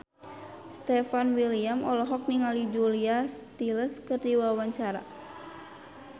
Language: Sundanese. Stefan William olohok ningali Julia Stiles keur diwawancara